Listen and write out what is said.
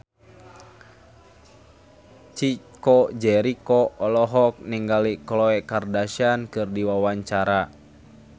Chico Jericho olohok ningali Khloe Kardashian keur diwawancara